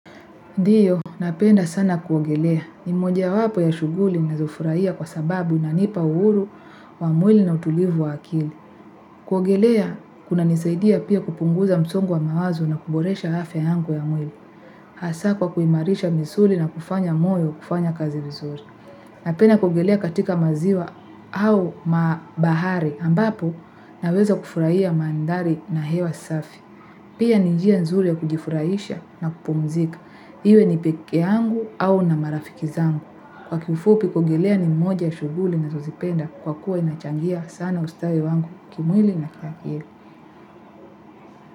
Ndiyo, napenda sana kuogelea. Ni moja wapo ya shughuli nazofurahia kwa sababu inanipa uhuru wa mwili na utulivu wa akili. Kuogelea, kunanisaidia pia kupunguza msongo wa mawazo na kuboresha afya yangu ya mwili. Hasa kwa kuimarisha misuli na kufanya moyo kufanya kazi vizuri. Napenda kuogelea katika maziwa au mabahari ambapo naweza kufuraia mandhari na hewa safi. Pia ni njia nzuri ya kujifurahisha na kupumzika. Iwe ni pekee yangu au na marafiki zangu. Kwa kiufupi kuogelea ni moja ya shughuli nazozipenda kwa kuwa inachangia sana ustawi wangu kimwili na kiakili.